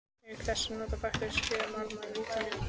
Auk þess nota bakteríur sykra, málma, vítamín og fleiri efni.